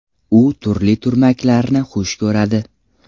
U turli turmaklarni xush ko‘radi.